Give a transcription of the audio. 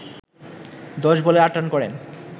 ১০ বলে ৮ রান করেন